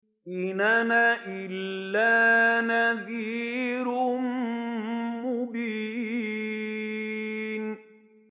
إِنْ أَنَا إِلَّا نَذِيرٌ مُّبِينٌ